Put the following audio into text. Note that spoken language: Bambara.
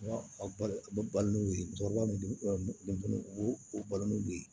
A balo a bɛ balo n'o ye u b'o u balo n'u ye